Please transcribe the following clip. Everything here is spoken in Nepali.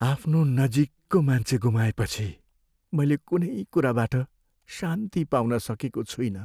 आफ्नो नजिकको मान्छे गुमाएपछि मैले कुनै कुराबाट शान्ति पाउन सकेको छुइनँ।